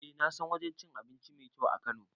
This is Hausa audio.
Eh nasan wajen cin abinci mai kyau a kano